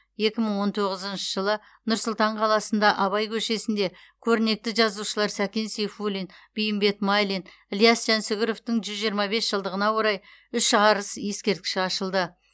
екі мың он тоғызыншы жылы нұр сұлтан қаласында абай көшесінде көрнекті жазушылар сәкен сейфуллин бейімбет майлин ілияс жансүгіровтың жүз жиырма бес жылдығына орай үш арыс ескерткіші ашылды